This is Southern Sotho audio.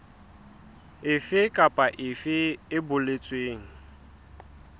efe kapa efe e boletsweng